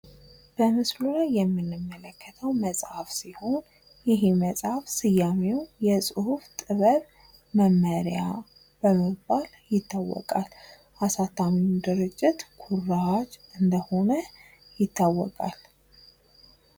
በምስሉ ላይ የምንመለከተው መፃፍ ሲሆን ይህ መፃፍ ስያሜው የፁሁፍ ጥበብ መመሪያ በመባል ይታወቃል። አሳታሚውም ድርጅት ኩራዝ እንደሆነ ይታወቃል።